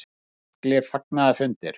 Það urðu miklir fagnaðarfundir.